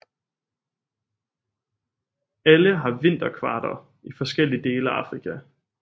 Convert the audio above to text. Alle har vinterkvarter i forskellige dele af Afrika